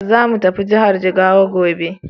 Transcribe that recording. Zamu tafi jihar Jigawa gobe.